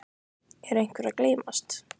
Er einhver að gleymast?